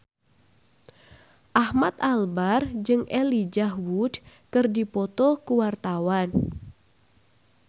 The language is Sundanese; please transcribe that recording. Ahmad Albar jeung Elijah Wood keur dipoto ku wartawan